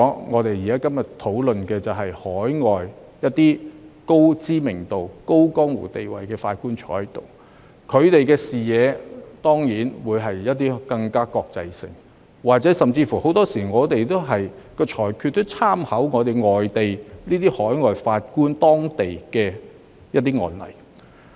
我們今天的討論議題，是引入海外高知名度、有江湖地位的法官加入終審法院，他們的視野更國際化，而香港法院的裁決亦經常參考外地的案例。